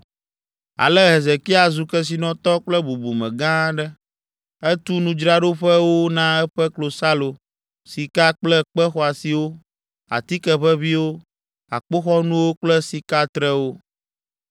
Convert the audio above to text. Ale Hezekia zu kesinɔtɔ kple bubume gã aɖe, etu nudzraɖoƒewo na eƒe klosalo, sika kple kpe xɔasiwo, atike ʋeʋĩwo, akpoxɔnuwo kple sikatrewo.